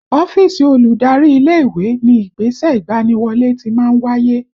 Ọ́fíìsì olùdarí ilé ìwé ni ìgbésẹ̀ ìgbaniwọlé ti máa ń wáyé